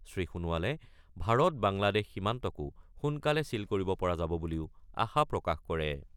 শ্ৰী সোণোৱালে ভাৰত-বাংলাদেশ সীমান্তকো সোনকালে ছীল কৰিব পৰা যাব বুলিও আশা প্ৰকাশ কৰে।